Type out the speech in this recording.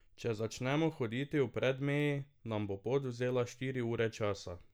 Če začnemo hoditi v Predmeji, nam bo pot vzela štiri ure časa.